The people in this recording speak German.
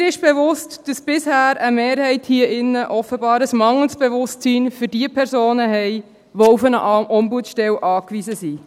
Mir ist bewusst, dass bisher eine Mehrheit hier in diesem Saal offenbar ein mangelndes Bewusstsein für diejenigen Personen hat, die auf eine Ombudsstelle angewiesen sind.